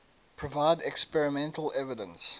provide experimental evidence